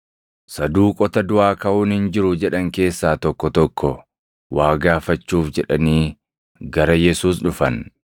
Saduuqota duʼaa kaʼuun hin jiru jedhan keessaa tokko tokko waa gaafachuuf jedhanii gara Yesuus dhufan;